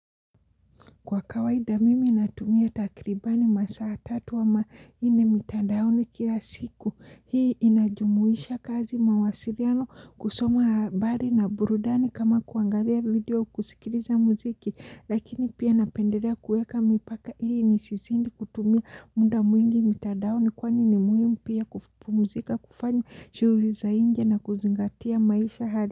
Kwa kawaida mimi natumia takribani masaa tatu ama ine mitadaoni kila siku. Hii inajumuisha kazi mawasiriano kusoma habari na burudani kama kuangalia video kusikiriza muziki. Lakini pia napenderea kueka mipaka hii nisizindi kutumia muda mwingi mitadaoni kwani ni muhimu pia kupumuzika kufanya shughuli za inje na kuzingatia maisha hali.